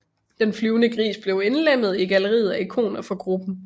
Den flyvende gris blev indlemmet i galleriet af ikoner for gruppen